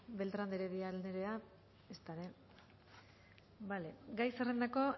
beltran de heredia andrea ezta ere gai zerrendako